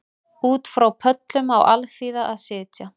Út frá pöllum á alþýða að sitja